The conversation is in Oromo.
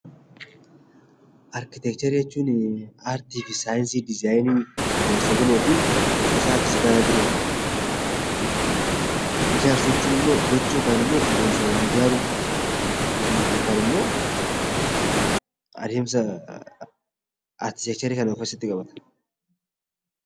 Arkiteekcharii jechuun artii fi saayinsii dizzaayinii ijaarsa gamooti. Caasaa fi gara birooti. Ijaarsa jechuun immoo gocha yookiin immoo adeemsa waa ijaaruu yookaan immoo adeemsa arkiteekcharii kan of keessatti qabatudha.